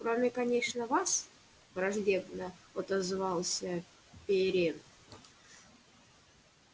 кроме конечно вас враждебно отозвался пиренн